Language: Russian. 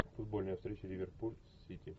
футбольная встреча ливерпуль с сити